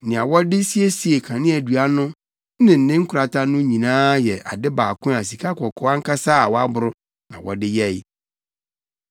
Nea wɔde siesiee kaneadua no ne ne nkorata no nyinaa yɛ ade baako a sikakɔkɔɔ ankasa a wɔaboro na wɔde yɛe.